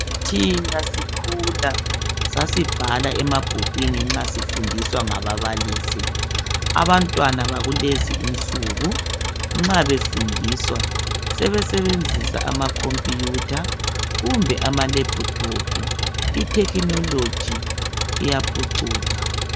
Thina sikhula sasibhala emabhukwini nxa sifundiswa ngababalisi. Abantwana bakulezi insuku nxa befundiswa sebesebenzisa amakhompuyutha kumbe amalephuthophu. Ithekhinoloji iyaphucuka.